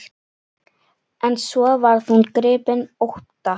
En svo varð hún gripin ótta.